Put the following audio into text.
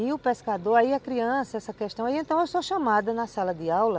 E o pescador, aí a criança, essa questão, aí então eu sou chamada na sala de aula